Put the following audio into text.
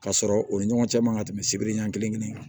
Ka sɔrɔ u ni ɲɔgɔn cɛ man ka tɛmɛ sibiri ɲɛ kelen kan